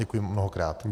Děkuji mnohokrát.